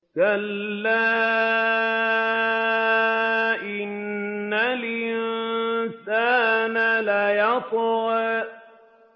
كَلَّا إِنَّ الْإِنسَانَ لَيَطْغَىٰ